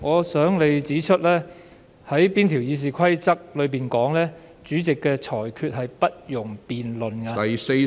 主席，請你指出《議事規則》哪一項條文訂明主席的裁決是不容辯論的。